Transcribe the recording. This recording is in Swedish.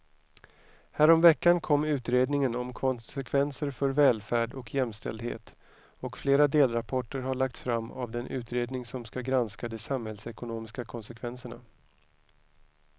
Häromveckan kom utredningen om konsekvenser för välfärd och jämställdhet och flera delrapporter har lagts fram av den utredning som ska granska de samhällsekonomiska konsekvenserna.